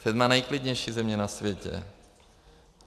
Sedmá nejklidnější země na světě.